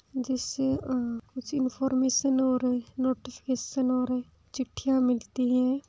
जिससे अ कुछ इनफॉर्मेशन और नोटिफिकेशन और चिट्ठियां मिलती है।